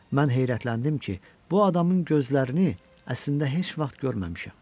Mən heyrətləndim ki, bu adamın gözlərini əslində heç vaxt görməmişəm.